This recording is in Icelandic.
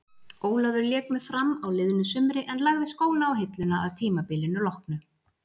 Ólafur lék með Fram á liðnu sumri en lagði skóna á hilluna að tímabilinu loknu.